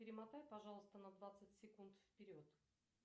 перемотай пожалуйста на двадцать секунд вперед